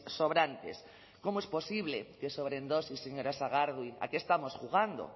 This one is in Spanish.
sobrantes cómo es posible que sobren dosis señora sagardui a qué estamos jugando